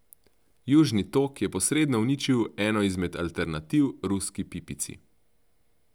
Južni tok je posredno uničil eno izmed alternativ ruski pipici.